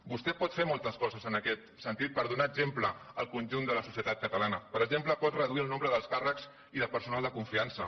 vostè pot fer moltes coses en aquest sentit per donar exemple al conjunt de la societat catalana per exemple pot reduir el nombre d’alts càrrecs i de personal de confiança